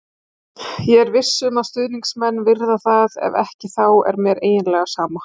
Ég er viss um að stuðningsmennirnir virða það, ef ekki þá er mér eiginlega sama,